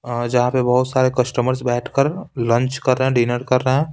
अ जहाँ पे बहुत सारे कस्टमर्स बैठकर लंच कर रहे हैं डिनर कर रहे हैं।